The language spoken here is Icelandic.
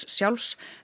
sjálfs